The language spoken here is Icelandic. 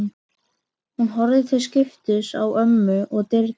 Hún horfir til skiptis á ömmu og dyrnar.